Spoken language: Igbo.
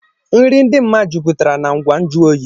Nri dị mma juputara na ngwa nju oyi